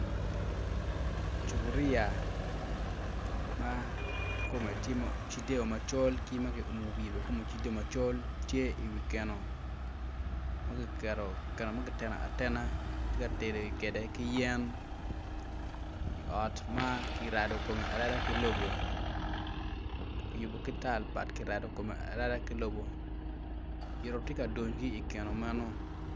Cuboria ma kome tye macol ma kiumo i wiye bene tye macol ma kiketo i keno ma kineno atena ma kitye ka tedo kwede ki yen i ot ma kirado kome arada ki lobo kiyubo kome ki tal but ki yubo kome ki lobo yito tye ka duny ki i keno meno.